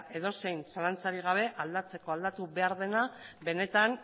edozein zalantzarik gabe aldatzeko aldatu behar dena benetan